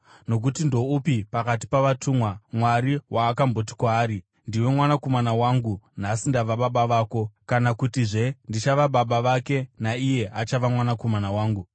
Nokuti ndoupi pakati pavatumwa, Mwari waakamboti kwaari: “Ndiwe Mwanakomana wangu; nhasi ndava baba vako?” kana kutizve, “Ndichava Baba vake, naiye achava Mwanakomana wangu?”